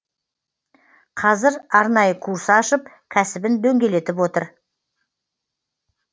қазір арнайы курс ашып кәсібін дөңгелетіп отыр